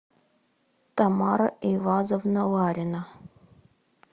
тамара эйвазовна ларина